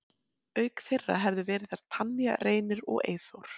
Auk þeirra hefðu verið þar Tanya, Reynir og Eyþór.